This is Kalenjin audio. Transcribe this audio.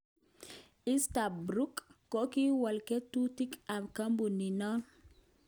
Easterbrook kokiwal ngo'tutik kap kompunit non.